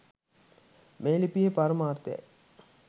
මේ ලිපියේ පරමාර්ථයයි.